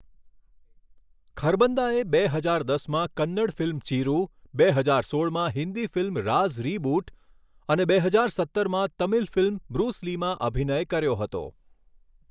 ખરબંદાએ બે હજાર દસમાં કન્નડ ફિલ્મ ચિરુ, બે હજાર સોળમાં હિન્દી ફિલ્મ રાઝ રીબૂટ અને બે હજાર સત્તરમાં તમિલ ફિલ્મ બ્રુસ લીમાં અભિનય કર્યો હતો.